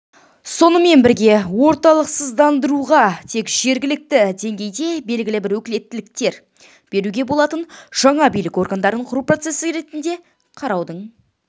сонымен бірге орталықсыздандыруға тек жергілікті деңгейде белгілі бір өкілеттіктер беруге болатын жаңа билік органдарын құру процесі ретінде қараудың